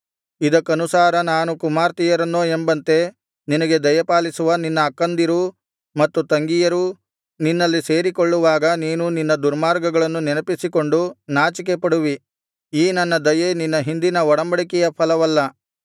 ಇದಕ್ಕನುಸಾರ ನಾನು ಕುಮಾರ್ತೆಯರನ್ನೋ ಎಂಬಂತೆ ನಿನಗೆ ದಯಪಾಲಿಸುವ ನಿನ್ನ ಅಕ್ಕಂದಿರೂ ಮತ್ತು ತಂಗಿಯರೂ ನಿನ್ನಲ್ಲಿ ಸೇರಿಕೊಳ್ಳುವಾಗ ನೀನು ನಿನ್ನ ದುರ್ಮಾರ್ಗಗಳನ್ನು ನೆನಪಿಸಿಕೊಂಡು ನಾಚಿಕೆಪಡುವಿ ಈ ನನ್ನ ದಯೆ ನಿನ್ನ ಹಿಂದಿನ ಒಡಂಬಡಿಕೆಯ ಫಲವಲ್ಲ